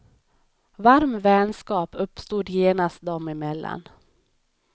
Varm vänskap uppstod genast dem emellan.